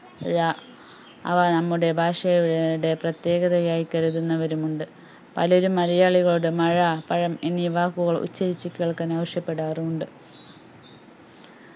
ഴ അവ നമ്മുടെ ഭാഷയുടെ പ്രത്യേകതയായി കരുതുന്നവരുമുണ്ട് പലരും മലയാളികളുടെ മഴ പഴം എന്നി വാക്കുകൾ ഉച്ചരിച് കേൾക്കാൻ ആവശ്യപ്പെടാറുമുണ്ട്